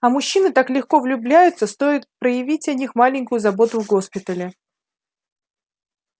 а мужчины так легко влюбляются стоит проявить о них маленькую заботу в госпитале